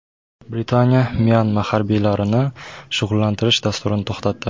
Britaniya Myanma harbiylarini shug‘ullantirish dasturini to‘xtatdi.